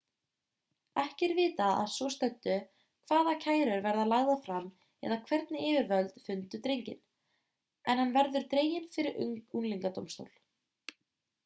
ekki er vitað að svo stöddu hvaða kærur verða lagðar fram eða hvernig yfirvöld fundu drenginn en hann verður dreginn fyrir unglingadómstól